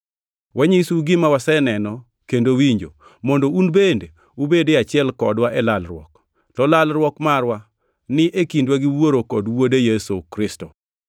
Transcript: Wanyisou gima waseneno kendo winjo, mondo un bende ubed e achiel kodwa e lalruok. To lalruok marwa ni e kindwa gi Wuoro kod Wuode, Yesu Kristo.